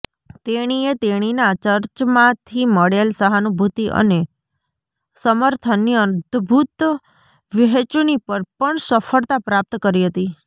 તેણીએ તેણીના ચર્ચમાંથી મળેલ સહાનુભૂતિ અને સમર્થનની અદ્ભુત વહેંચણી પર પણ સફળતા પ્રાપ્ત કરી હતી